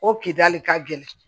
O kidali ka gɛlɛn